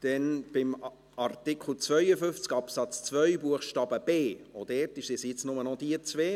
Auch bei Artikel 52 Absatz 2 Buchstabe b sind es jetzt nur noch diese beiden.